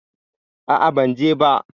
A'a, ban je ba.